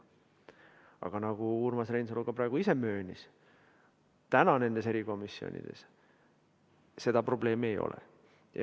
Aga nagu Urmas Reinsalu isegi möönis, praegu nendes erikomisjonides seda probleemi ei ole.